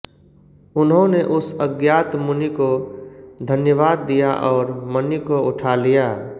उन्होंने उस अज्ञात मुनि को धन्यवाद दिया और मणि को उठा लिया